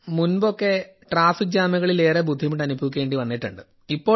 മുൻപൊക്കെ traffic ജാമുകളിൽ ഏറെ ബുദ്ധിമുട്ട് അനുഭവിക്കേണ്ടി വന്നിട്ടുണ്ട്